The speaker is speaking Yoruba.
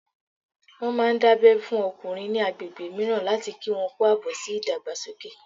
Wọ́n máà ń dábẹ́ fún àwọn ọkùnrin ní agbègbè mìíràn láti kí wọn kú àbọ̀ sí ìdàgbàsókè